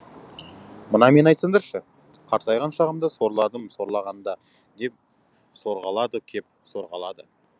мына мені айтсаңдаршы қартайған шағымда сорладым сорлағанда деп сорғалады кеп сорғалады